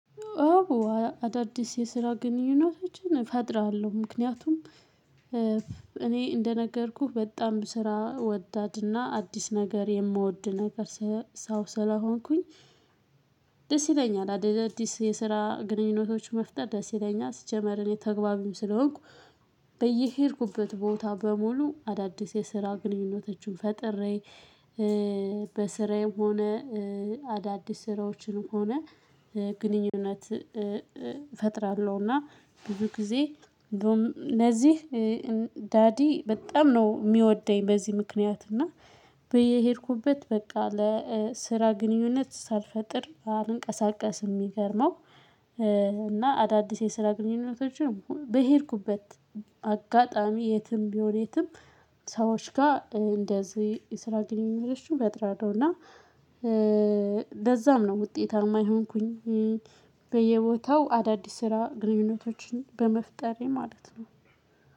አዳዲስ የስራ ግንኙነቶችን እፈጥራለሁ ምክንያቱም እኔ እንደነገርኩህ በጣም ስራ ወዳድና አዲስ ነገር የምወድ ነገር ሰው ስለሆንኩኝ ደስ ይለኛል አዳዲስ የስራ ግንኙነቶች መፍጠር ደስ ይለኛል ሲጀመር እኔ ተግባቢም ስለሆንኩ በየሄድኩበት ቦታ በሙሉ አዳዲስ የስራ ግንኙነቶችን ፈጥሬ በስራዬም ሆነ፣ አዳዲስ ስራዎችንም ሆነ ግንኙነት እፈጥራለሁ፤ እና ብዙ ጊዜ እንደውም ለዚህ ዳዲ በጣም ነው የሚወደኝ በዚህ ምክንያት እና በሄድኩበት በቃ ለስራ ግንኙነት ሳልፈጥር አልንቀሳቀስም የሚገርመው እና አዳዲስ የስራ ግንኙነቶችን በሄድኩበት አጋጣሚ የትም ቢሆን የትም ሰዎች ጋር እንደዚህ የስራ ግንኙነቶችን እፈጥራለሁ ነው እና ለዛም ነው ውጤታማ የሆንኩኝ በየቦታው አዳዲስ ስራ ግንኙነቶችን በመፍጠሬ ማለት ነው።